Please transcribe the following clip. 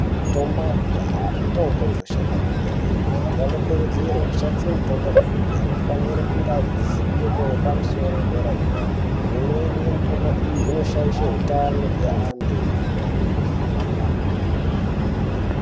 Mitombo yakudhaya mitombo inoshanda kwemene anokurudzirwe kushandise mitombo iyi. Anofanire kunge ainezivo yepamusoro yedera-dera imweni yemitombo iyi inoshaisha hutano hweantu.